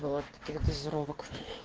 ебала от таких дозировок